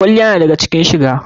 Kwalliya na daga cikin shiga.